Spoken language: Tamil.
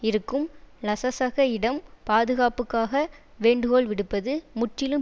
இருக்கும் லசசக யிடம் பாதுகாப்புக்காக வேண்டுகோள் விடுப்பது முற்றிலும்